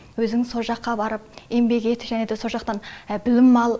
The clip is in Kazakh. өзің со жаққа барып еңбек ет және де со жақтан білім ал